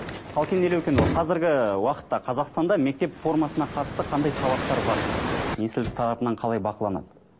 қалкен елеукенұлы қазіргі уақытта қазақстанда мектеп формасына қатысты қандай талаптар бар министрлік тарапынан қалай бақыланады